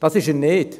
Das ist er nicht.